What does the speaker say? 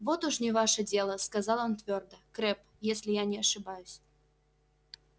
вот уж не ваше дело сказал он твёрдо крэбб если я не ошибаюсь